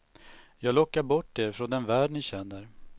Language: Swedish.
Jag lockar bort er från den värld ni känner.